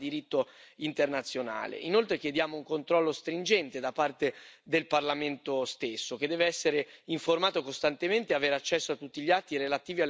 Inoltre chiediamo un controllo stringente da parte del Parlamento stesso, che deve essere informato costantemente e avere accesso a tutti gli atti relativi alle operazioni finanziate con lo strumento.